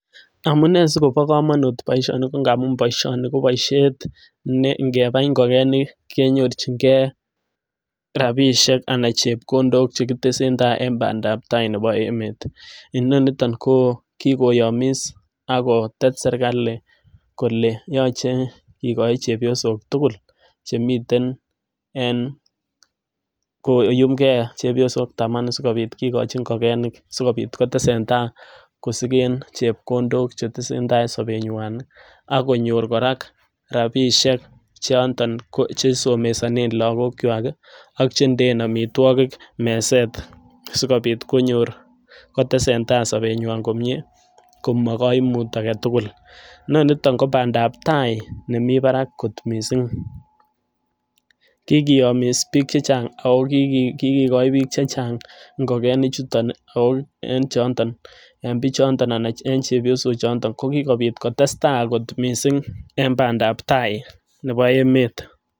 Amunee sikobit komonut boishoni ko amun boishoni ko boishet ne ingebai ingokenik kenyorchigee rabishek anan chepkondok chekitesen tai en pandap tai nebo nebo emet, inoniton koo kikoyomis ak kotet serikali kole yoche kikochi chepyosok tukul chemiten en koyumi gee chepyosok tamanu sikopit kikochi ingikenik sikopit kotesen tai kosigen chepkondok chetesen tai en somenywan ak konyor Koraa rabishek choton ko che somesonen lokok kwak kii ak chendeen omitwokik meset sikopit konyor kotesen tai sobenywan komie komo koimur agetukul. Noniton ko pandap tai nemii barak kot missing, kikiyomiss bik chechang ako kokikoi bik chechang ingikenik chuton ako en chonton en bichondon anan en chepyosok chondon ko kikopit kotestai kot missing en pandap tai nebo emet.